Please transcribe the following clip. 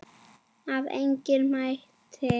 Að eigin mati.